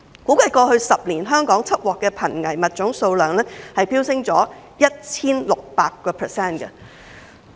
估計過去10年香港緝獲的瀕危物種數量飆升 1,600%。